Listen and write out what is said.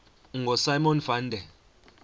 ngosimon van der